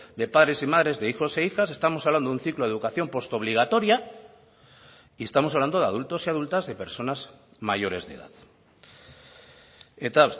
de padres y madres de hijos e hijas estamos hablando de un ciclo de educación postobligatoria y estamos hablando de adultos y adultas de personas mayores de edad eta